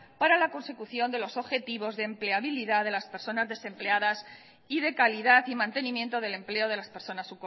para la consecución de los objetivos de empleabilidad de las personas desempleadas y de calidad y mantenimiento del empleo de las personas